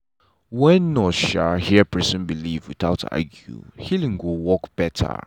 wen nurse hear person belief without argue healing go work better.